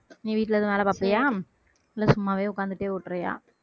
நீ வீட்ல ஏதும் வேலை பாப்பியா இல்ல சும்மாவே உக்காந்துட்டே ஓட்டுரியா